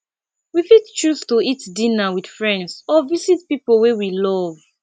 we fit choose to eat dinner with friends or visit pipo wey we love